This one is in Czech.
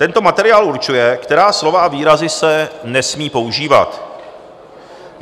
Tento materiál určuje, která slova a výrazy se nesmí používat.